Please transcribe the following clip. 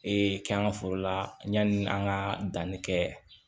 Ee kɛ an ka foro la yanni an ka danni kɛ